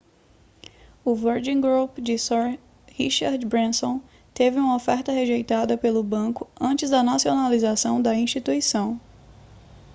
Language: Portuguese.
o virgin group de sir richard branson teve uma oferta rejeitada pelo banco antes da nacionalização da instituição